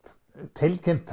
tilkynnt